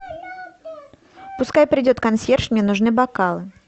пускай придет консьерж мне нужны бокалы